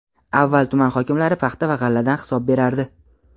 Avval tuman hokimlari paxta va g‘alladan hisob berardi.